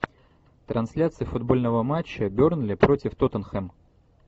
трансляция футбольного матча бернли против тоттенхэм